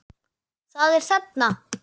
Það er þarna!